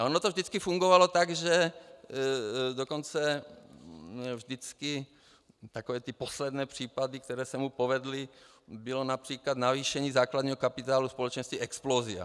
Ale ono to vždycky fungovalo tak, že dokonce vždycky takové ty poslední případy, které se mu povedly, bylo například navýšení základního kapitálu společnosti Explosia.